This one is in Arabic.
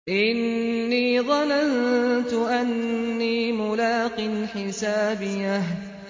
إِنِّي ظَنَنتُ أَنِّي مُلَاقٍ حِسَابِيَهْ